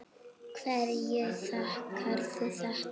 Hverju þakkarðu þetta?